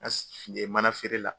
mana feere la.